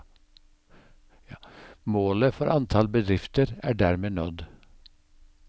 Målet for antall bedrifter er dermed nådd.